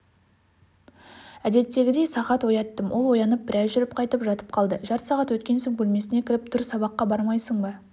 әдеттегідей сағат ояттым ол оянып біраз жүріп қайтып жатып қалды жарты сағат өткен соң бөлмесіне кіріп тұр сабаққа бармайсың ба